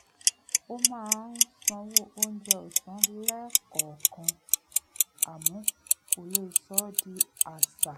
ó máa ń sanwó oúnjẹ ọ̀sán lẹ́ẹ̀kọ̀ọ̀kan àmọ́ kò lè sọ ọ́ di àṣà